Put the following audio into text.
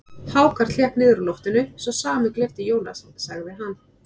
Hákarl hékk niður úr loftinu, sá sami og gleypti Jónas, sagði hann.